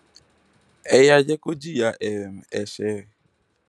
ẹ yáa jẹ kó jìyà um ẹṣẹ ẹ